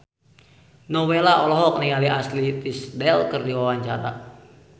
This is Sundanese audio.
Nowela olohok ningali Ashley Tisdale keur diwawancara